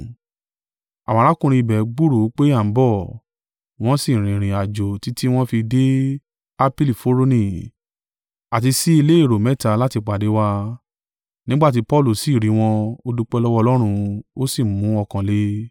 Àwọn arákùnrin ibẹ̀ gbúròó pé a ń bọ̀, wọ́n sì rìnrìn àjò títí wọ́n fi dé Apii Foroni àti sí ilé èrò mẹ́ta láti pàdé wa: nígbà tí Paulu sì rí wọn, ó dúpẹ́ lọ́wọ́ Ọlọ́run, ó sì mú ọkàn le.